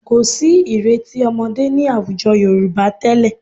Kò sí ìrètí ọmọdé ní àwùjọ Yorùbá tẹ́lẹ̀